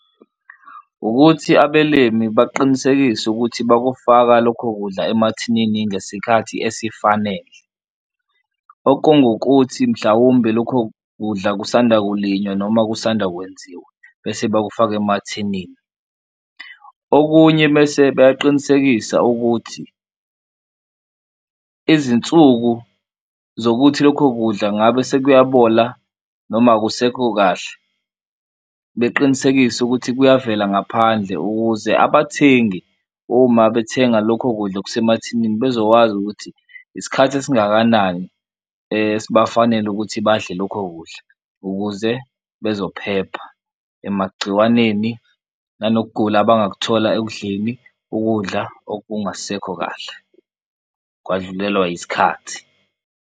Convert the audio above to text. Ukuthi abelimi baqinisekise ukuthi bakufaka lokho kudla emathinini ngesikhathi esifanele, okungukuthi mhlawumbe lokho kudla kusanda kulinywa noma kusanda kwenziwa bese bawufaka emathinini. Okunye mese beyaqinisekisa ukuthi izinsuku zokuthi lokho kudla ngabe sekuyabola noma akusekho kahle beqinisekise ukuthi kuyavela ngaphandle ukuze abathengi uma bethenga lokho kudla okusemathinini, bezokwazi ukuthi isikhathi esingakanani esingafanele ukuthi badle lokho ukudla. Ukuze bezophepha emagciwaneni nanokugula abangakuthola ekudleni ukudla okungasekho kahle kwadlulelwa yisikhathi.